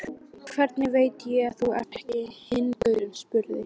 Hvernig veit ég að þú ert ekki hinn gaurinn, spurði